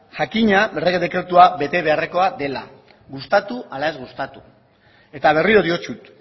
jakina errege dekretua bete beharrekoa dela gustatu ala ez gustatu eta berriro diotzut